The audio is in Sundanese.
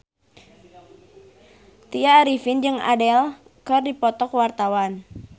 Tya Arifin jeung Adele keur dipoto ku wartawan